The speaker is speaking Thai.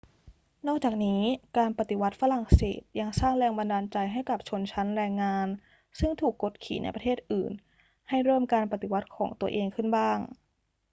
นอกจากนี้ การปฏิวัติฝรั่งเศสยังสร้างแรงบันดาลใจให้กับชนชั้นแรงงานซึ่งถูกกดขี่ในประเทศอื่นให้เริ่มการปฏิวัติของตัวเองขึ้นบ้าง